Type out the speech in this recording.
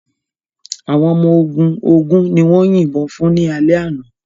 Àwọn ọmọ ogun ogún ni wọ́n yìnbọn fún ní alẹ́ àná.